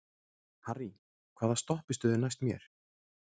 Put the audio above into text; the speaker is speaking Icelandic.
Harrý, hvaða stoppistöð er næst mér?